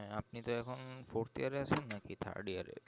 হ্যাঁ আপনি তো এখন fourth year আছেন না কি third year এ